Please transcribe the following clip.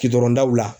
Kidɔn daw la